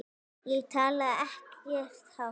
Ég talaði ekkert hátt.